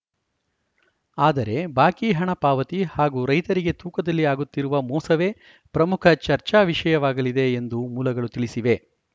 ಆದರೆ ಬಾಕಿ ಹಣ ಪಾವತಿ ಹಾಗೂ ರೈತರಿಗೆ ತೂಕದಲ್ಲಿ ಆಗುತ್ತಿರುವ ಮೋಸವೇ ಪ್ರಮುಖ ಚರ್ಚಾ ವಿಷಯವಾಗಲಿದೆ ಎಂದು ಮೂಲಗಳು ತಿಳಿಸಿವೆ